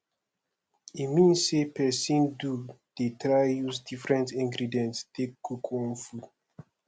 e mean say persin do de try use different ingredients take cook one food